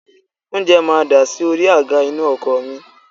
Oúnjẹ máa dasi orí àga inú ọkọ̀ mi